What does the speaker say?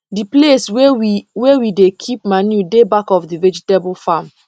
the place wey we wey we dey keep manure dey back of the vegetable farm